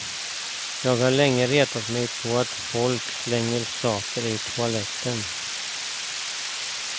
Jag har länge retat mig på att folk slänger saker i toaletten.